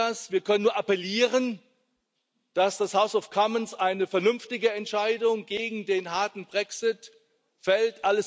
Wir wissen das, wir können nur appellieren, dass das House of Commons eine vernünftige Entscheidung gegen den harten Brexit fällt.